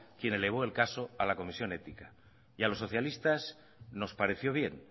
quien elevó el caso a la comisión ética y a los socialistas nos pareció bien